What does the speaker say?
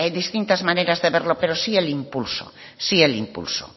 distintas maneras de verlo pero sí el impulso sí el impulso